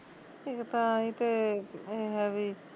ਇੱਕ ਤਾਂ ਈਤੇ ਏਹ ਆ ਵੀ